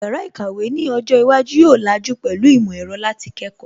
Yàrá ìkàwé ni ọjọ́ iwájú yóò làjú pẹ̀lú ìmọ̀ ẹ̀rọ láti kẹ́kọ̀ọ́